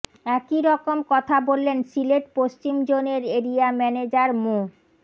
একই রকম কথা বললেন সিলেট পশ্চিম জোনের এরিয়া ম্যানেজার মো